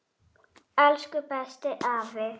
Elsku bestu afi.